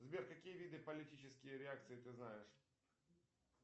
сбер какие виды политические реакции ты знаешь